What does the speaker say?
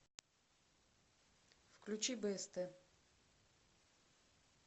включи бст